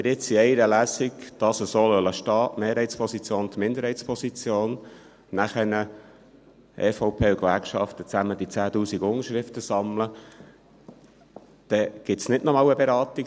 Wenn wir dies jetzt in einer Lesung so stehen lassen – die Mehrheitsposition und die Minderheitsposition – und wenn nachher die EVP und die Gewerkschaften zusammen die 10’000 Unterschriften sammeln, dann gibt es hier in diesem Saal nicht noch einmal eine Beratung.